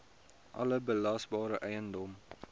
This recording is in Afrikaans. alle belasbare eiendom